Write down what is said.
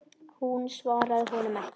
Hún svaraði honum ekki.